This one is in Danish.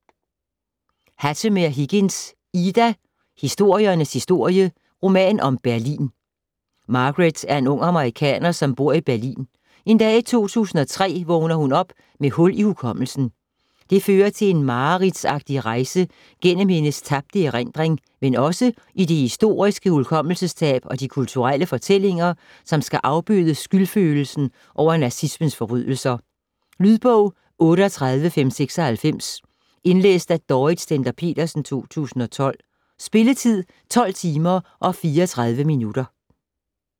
Hattemer-Higgins, Ida: Historiens historie: roman om Berlin Margaret er en ung amerikaner, som bor i Berlin. En dag i 2003 vågner hun op med hul i hukommelsen. Det fører til en mareridtsagtig rejse gennem hendes tabte erindring, men også i det historiske hukommelsestab og de kulturelle fortællinger, som skal afbøde skyldfølelsen over nazismens forbrydelser. Lydbog 38596 Indlæst af Dorrit Stender-Petersen, 2012. Spilletid: 12 timer, 34 minutter.